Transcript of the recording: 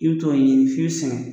I t'o ye f'i